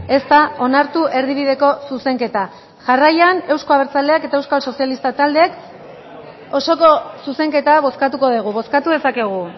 ez da onartu erdibideko zuzenketa jarraian euzko abertzaleak eta euskal sozialista taldeek osoko zuzenketa bozkatuko dugu bozkatu dezakegu